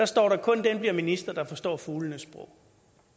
står der at kun den bliver minister der forstår fuglenes sprog